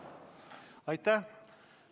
Aitäh!